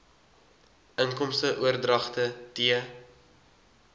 inkomste oordragte t